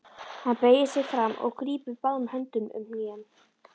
Hann beygir sig fram og grípur báðum höndum um hnén.